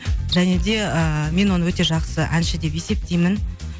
және де ыыы мен оны өте жақсы әнші деп есептеймін